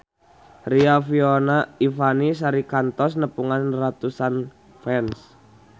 Riafinola Ifani Sari kantos nepungan ratusan fans